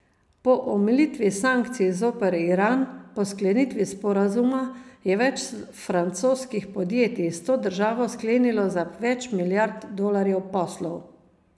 Po omilitvi sankcij zoper Iran po sklenitvi sporazuma je več francoskih podjetij s to državo sklenilo za več milijard dolarjev poslov.